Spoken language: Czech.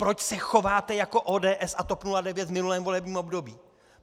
Proč se chováte jako ODS a TOP 09 v minulém volebním období?